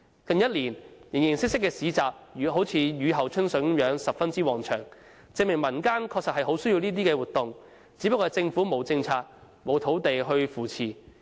近一年，形形色色的市集如雨後春筍，十分旺場，證明民間確實很需要這些活動，只是政府沒有政策和土地去扶持。